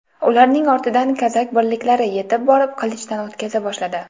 Ularning ortidan kazak birliklari yetib borib qilichdan o‘tkaza boshladi.